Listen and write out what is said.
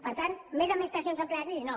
per tant més administracions en plena crisi no